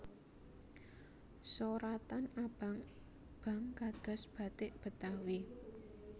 Soratan abang bang kados bathik Betawi